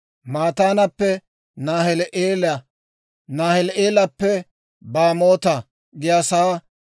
Mataanappe Naahili'eela, Naahili'eelappe Baamoota giyaasaa,